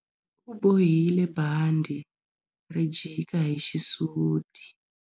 U bohile bandhi ri jika hi xisuti.